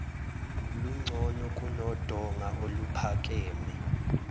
lungcono kunodonga oluphakeme